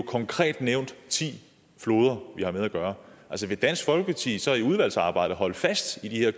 konkret nævnt ti floder vi har med at gøre altså vil dansk folkeparti så i udvalgsarbejdet holde fast i de her